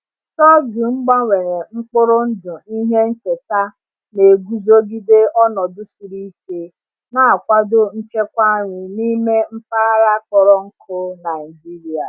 Sorghum gbanwere mkpụrụ ndụ ihe nketa na-eguzogide ọnọdụ siri ike, na-akwado nchekwa nri n’ime mpaghara kpọrọ nkụ Nigeria.